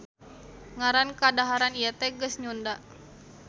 Ngaran kadaharan ieu teh geus nyunda